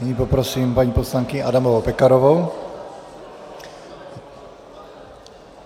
Nyní poprosím paní poslankyni Adamovou Pekarovou.